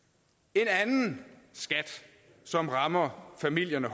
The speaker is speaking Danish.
en anden skat som rammer familierne